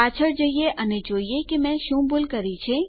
પાછળ જઈએ અને જોઈએ કે મેં શું ભૂલ કરી છે